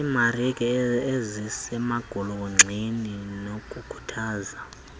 iimarike ezisemagolonxeni nokukhuthaza